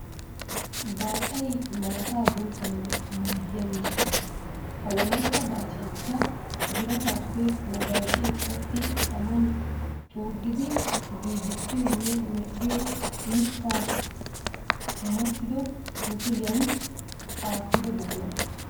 Baacay maataa buuccanawu maaddiya miishsha. ha wolayitta baacayikka birataappe wogaacee qoxxi taman xuuggidi giigissiyonne medhdhiyo mittaa massido musuliyan aattido buqura.